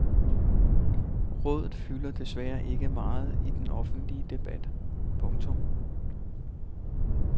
Rådet fylder desværre ikke meget i den offentlige debat. punktum